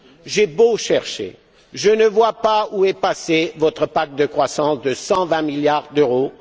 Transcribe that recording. J'ai beau chercher, je ne vois pas où est passé votre Pacte de croissance de 120 milliards d'euros.